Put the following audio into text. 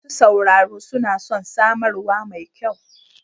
Masu sauraro suna son samarwa mai kyau.